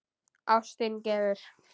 Ástin gefur.